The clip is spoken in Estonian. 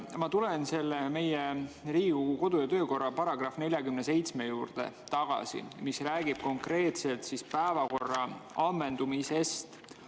Ma tulen tagasi Riigikogu kodu‑ ja töökorra § 47 juurde, mis räägib konkreetselt päevakorra ammendumisest.